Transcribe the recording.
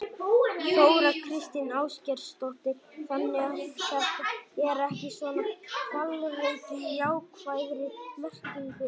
Þóra Kristín Ásgeirsdóttir: Þannig að þetta er ekki svona hvalreki í jákvæðri merkingu?